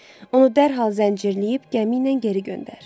Onu dərhal zəncirləyib gəmi ilə geri göndər.